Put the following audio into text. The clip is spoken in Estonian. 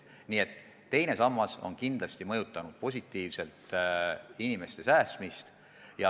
Nii et teine sammas on raha kõrvalepanekut kindlasti positiivselt mõjutanud.